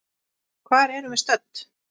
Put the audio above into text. Hvar erum við stödd?